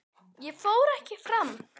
Ég fór ekki fram.